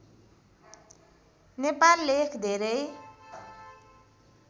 नेपाल लेख धेरै